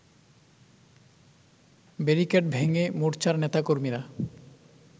barricade ভেঙ্গে মোর্চার নেতাকর্মীরা